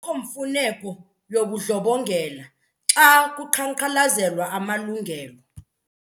Akukho mfuneko yobundlobongela xa kuqhankqalazelwa amalungelo.